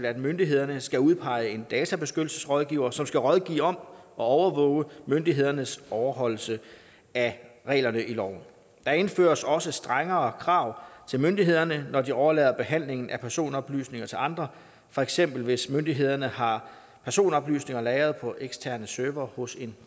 at myndighederne skal udpege en databeskyttelsesrådgiver som skal rådgive om og overvåge myndighedernes overholdelse af reglerne i loven der indføres også strengere krav til myndighederne når de overlader behandlingen af personoplysninger til andre for eksempel hvis myndighederne har personoplysninger lagret på eksterne servere hos en